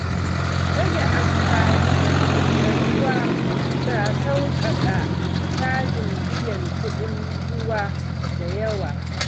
Rage amfani da ruwa na sauƙaƙa cajin biyan kuɗin ruwa da yawa.